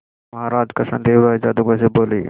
महाराज कृष्णदेव राय जादूगर से बोले